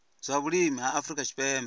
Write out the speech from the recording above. zwa vhulimi ha afrika tshipembe